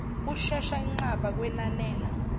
ushesha inqaba kwenanela